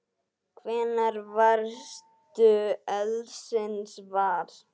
Hvenær varðstu eldsins var?